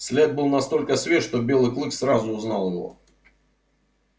след был настолько свеж что белый клык сразу узнал его